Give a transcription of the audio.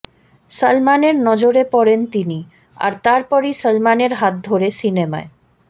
সলমনের নজরে পড়েন তিনি আর তারপরই সলমনের হাত ধরে সিনেমায়